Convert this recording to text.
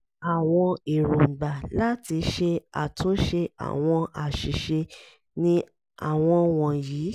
àwọn ẹ̀róngbà láti ṣe àtúnṣe àwọn àṣìṣe ni àwọn wọ̀nyí: a)